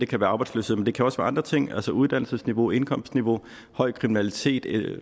kan være arbejdsløshed men det kan også være andre ting altså uddannelsesniveau indkomstniveau høj kriminalitet